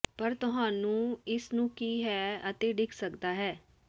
ਪਰ ਤੁਹਾਨੂੰ ਇਸ ਨੂੰ ਕੀ ਹੈ ਅਤੇ ਡਿੱਗ ਸਕਦਾ ਹੈ